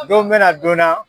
Don bɛna donna